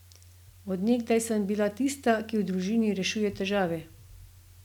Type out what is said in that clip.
Od nekdaj sem bila tista, ki v družini rešuje težave.